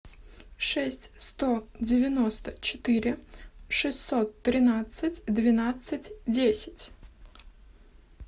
шесть сто девяносто четыре шестьсот тринадцать двенадцать десять